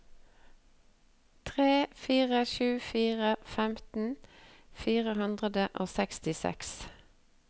tre fire sju fire femten fire hundre og sekstiseks